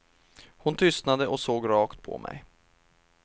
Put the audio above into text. Hon tystnade och såg rakt på mig.